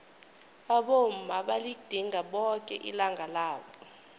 abomma baligidinga boke ilanga labo